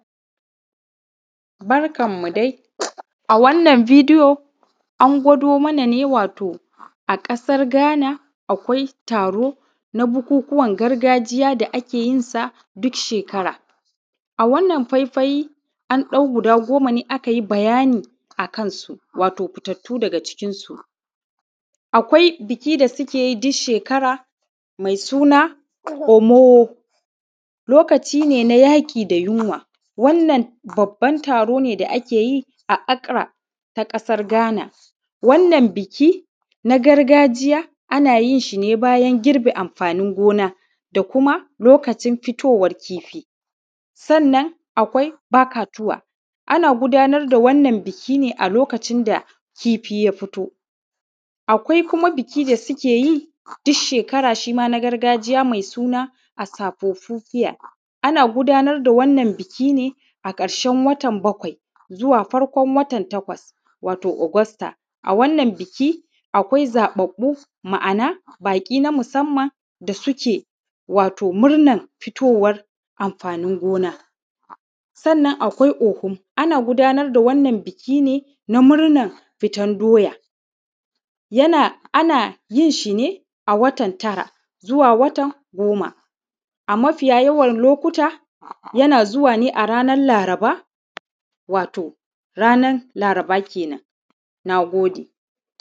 Barkanmu dai, a wannan bidiyo an gwado mana ne wato a ƙasar Gana akwai taro na bukukuwan gargajiya da ake yin sa duk shekara. A wannan faife an ɗau guda goma ne, aka yi bayani akan su. Wato, fitattu daga cikinsu akwai biki da suke yi duk shekara mai suna Homo, lokaci ne da suke yaƙi da yunwa. Wannan babban taro ne da ake yi a Akra na ƙasar Gan, wannan bikin gargajiya ana yin shi ne bayan an girbe amfanin gona kuma lokacin fitowan kifi. Sannan akwai Bakatuwa ana gudanar da wannan bikin ne a lokacin da kifi ya fito. Akwai kuma biki da suke yi duk shekara na gargajiya mai suna A Safofidiya, ana gudanar da wannan bikin ne a ƙarsen watan bakwai zuwa farƙon watan takwas wato Ogosta. A wannan biki akwai zaɓaɓɓu, ma'ana baƙi na musamman da suke murna fitowan amfanin gona. Sannan akwai Ohum, ana gudanar da wannan bikin ne na murnan fitar doya. Ana yin shi ne a watan tara zuwa watan goma, a mafiya yawan lokuta yana zuwa ne a ranan Laraba, wato ranan Laraba ke nan. Na gode.